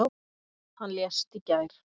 Hann lést í gær.